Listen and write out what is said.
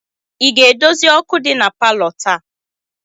Ị ga-edozi ọkụ dị na palọ taa?